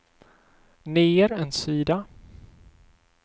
ner en sida